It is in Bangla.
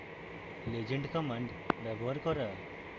legend command ব্যবহার করা